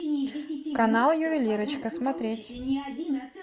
канал ювелирочка смотреть